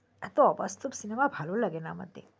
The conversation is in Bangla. এতো অবাস্তব সিনেমা ভালো লাগেনা আমার দেখতে